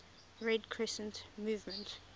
red crescent movement